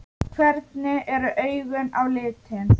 Hvernig eru augun á litinn?